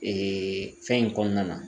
fɛn in kɔnɔna na